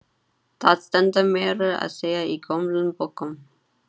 Það stendur meira að segja í gömlum bókum.